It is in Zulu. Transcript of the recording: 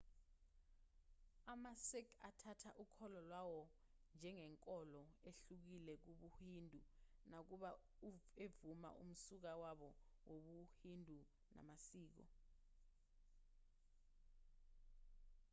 amasikh athatha ukholo lwawo njengenkolo ehlukile kubuhindu nakuba evuma umsuka wabo wobuhindu namasiko